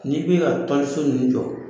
N'i bɛ ka tɔliso ninnu jɔ